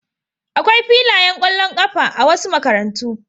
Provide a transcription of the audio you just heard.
Akwai filayen ƙwallon ƙafa a wasu makarantu.